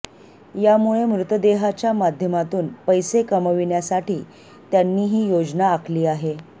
यामुळे मृतदेहाच्या माध्यमातून पैसे कमाविण्यासाठी त्यांनी ही योजना आखली आहे